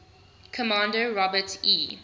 commander robert e